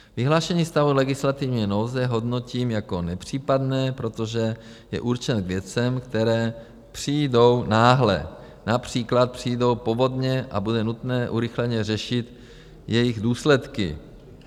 Vyhlášení stavu legislativní nouze hodnotím jako nepřípadné, protože je určen k věcem, které přijdou náhle, například přijdou povodně a bude nutné urychleně řešit jejich důsledky.